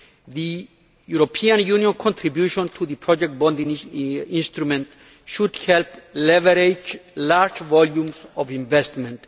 The European Union contribution to the project bond instrument should help leverage large volumes of investment.